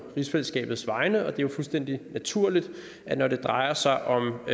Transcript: rigsfællesskabets vegne og det er jo fuldstændig naturligt at når det drejer sig om